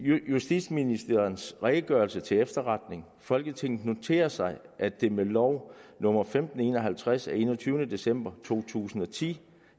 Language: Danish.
justitsministerens redegørelse til efterretning folketinget noterer sig at det med lov nummer femten en og halvtreds af enogtyvende december to tusind og ti